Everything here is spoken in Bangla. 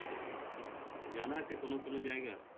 জানা আছে কোনো কোনো জায়গা